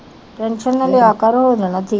tension ਨਾ ਲੇਆ ਕਰ ਹੋ ਜਾਣਾ ਠੀਕ